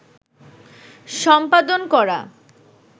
সম্পাদন করা